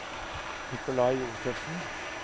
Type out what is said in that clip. Nicolai Josefsen